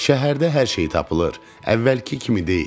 Şəhərdə hər şey tapılır, əvvəlki kimi deyil.